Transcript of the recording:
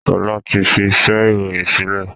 Sọlá ti fi iṣẹ́ ìròyìn sílẹ̀